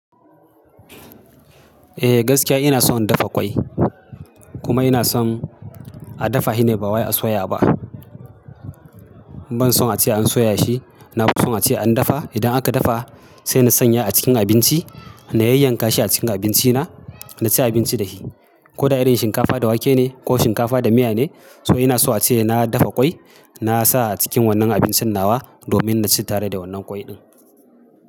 Eh gaskiya ina son in dafa ƙwai. Kuma ina son a dafa shi ne ba wai a soya ba. Ban son ace an soya shi, na fi son ace an dafa. Idan aka dafa sai na sanya a cikin abinci na yayyanka shi a cikin abinci na na ci abinci da shi. Ko da irin shinkafa da wake ne ko shinkafa da miya ne, so ina so ace na dafa ƙwai na sa a cikin wannan abincin nawa domin na ci tare da wannan ƙwai ɗin.